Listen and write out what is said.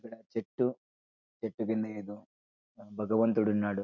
ఇక్కడ చెట్టు చెట్టు కింద ఏదో భగవంతుడు ఉన్నాడు.